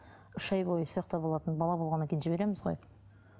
үш ай бойы сол жақта болатын бала болғаннан кейін жібереміз ғой